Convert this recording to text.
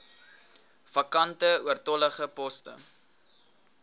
vakante oortollige poste